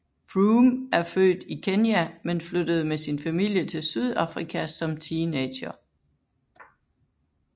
Froome er født i Kenya men flyttede med sin familie til Sydafrika som teenager